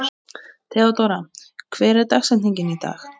Nánar má lesa um hringi Satúrnusar hér.